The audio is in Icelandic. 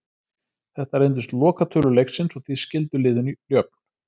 Þetta reyndust lokatölur leiksins og því skildu liðin jöfn.